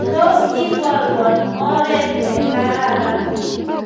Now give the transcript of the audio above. Tos iborwo oret negararan